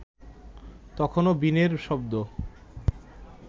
তখনো বীণের শব্দ